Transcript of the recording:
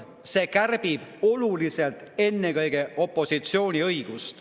See ju kärbib oluliselt ennekõike opositsiooni õigusi.